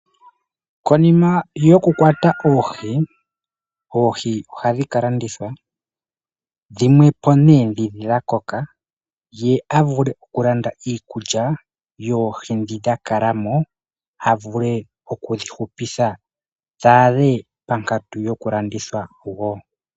Konima yokukwata oohi, oohi ohadhi kalandithwa dhimwepo ne dhi dhakoka ye avule okulanda iikulya yoohi dhi dhakalamo avule oku dhihupitha dhadhe pankatu yokulandithwa wo.